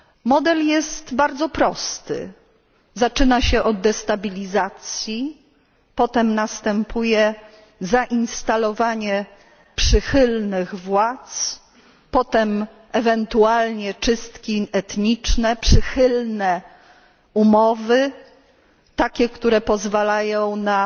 Model jest bardzo prosty zaczyna się od destabilizacji, potem następuje zainstalowanie przychylnych władz, potem ewentualnie czystki etniczne, przychylne umowy, takie które pozwalają na